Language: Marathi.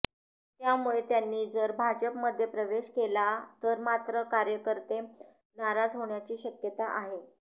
त्यामुळे त्यांनी जर भाजपमध्ये प्रवेश केला तर मात्र कार्यकर्ते नाराज होण्याची शक्यता आहे